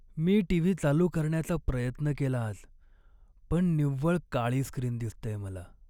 मी TV चालू करण्याचा प्रयत्न केला आज, पण निव्वळ काळी स्क्रीन दिसतेय मला.